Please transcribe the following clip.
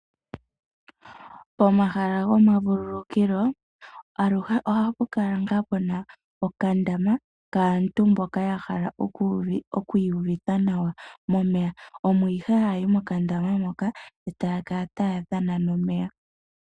Pomahala gomavululukilo aluhe ohapu kala ngaa puna okandama kaantu mboka yahala oku iyuvitha nawa momeya. Omo nee hayayi mokandama moka etaya kala taya dhana nomeya .